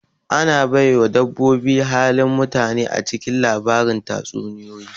Ana baiwa dabboboi halin mutane acikin lbarin tatsuniya